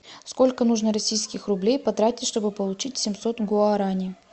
сколько нужно российских рублей потратить чтобы получить семьсот гуарани